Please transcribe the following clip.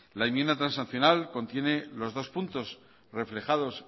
la enmienda transaccional contiene los dos puntos reflejados